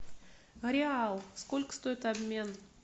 реал сколько стоит обмен